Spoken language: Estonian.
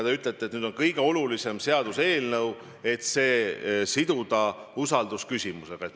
Te ütlete, et see on kõige olulisem seaduseelnõu, nii et see seotakse isegi usaldusküsimusega.